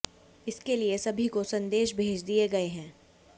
इसके लिए सभी को संदेश भेज दिए गए हैं